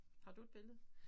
Har du et billede?